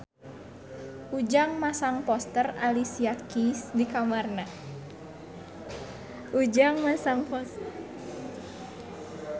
Ujang masang poster Alicia Keys di kamarna